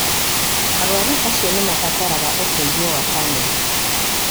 Arũaru acio nĩ mabataraga ũteithio wa bamĩrĩ